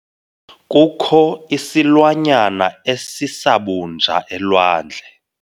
Kukho isilwanyana esisabunja elwandle.